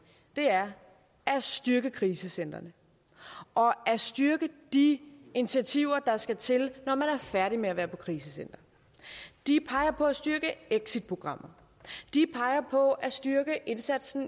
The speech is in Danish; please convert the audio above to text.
er at styrke krisecentrene og at styrke de initiativer der skal til når man er færdig med at være på krisecenter de peger på at styrke exitprogrammer de peger på at styrke indsatsen